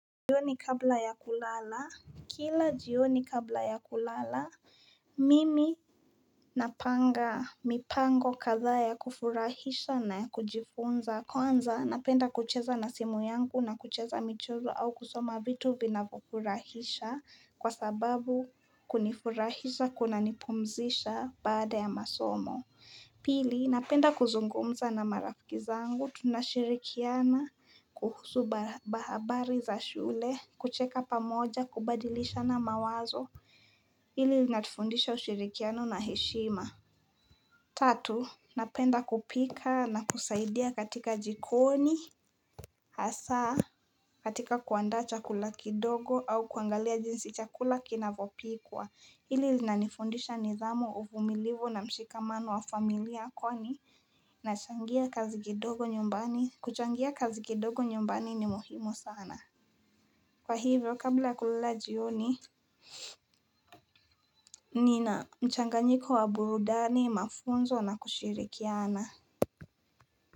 Jioni kabla ya kulala, kila jioni kabla ya kulala, mimi napanga mipango kadhaa ya kufurahisha na ya kujifunza. Kwanza, napenda kucheza na simu yangu na kucheza michezo au kusoma vitu vinayofurahisha kwa sababu kunifurahisha kunanipumzisha baada ya masomo. Pili, napenda kuzungumza na marafiki zangu, tunashirikiana, kuhusu habari za shule, kucheka pamoja, kubadilishana mawazo, hili linatufundisha ushirikiano na heshima Tatu, napenda kupika na kusaidia katika jikoni, hasa, katika kuandaa chakula kidogo au kuangalia jinsi chakula kinavyopikwa, hili linanifundisha nidhamu, uvumilivu na mshikamano wa familia kwani nachangia nyumbani, kuchangia kazi kidogo nyumbani ni muhimu sana. Kwa hivyo, kabla ya kulala jioni, nina mchanganyiko wa burudani, mafunzo na kushirikiana.